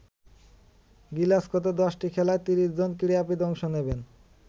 গ্লাসগোতে দশটি খেলায় ৩০ জন ক্রীড়াবিদ অংশ নেবেন।